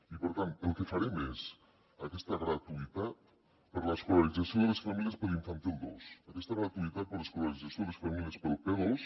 i per tant el que farem és aquesta gratuïtat per a l’escolarització de les famílies per a l’infantil dos aquesta gratuïtat per a l’escolarització a les famílies per al p2